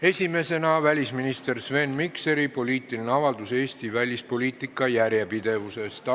Esiteks, välisminister Sven Mikseri poliitiline avaldus Eesti välispoliitika järjepidevuse kohta.